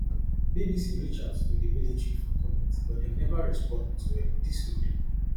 bbc reach out to di military for comment but dem neva respond to um dis tori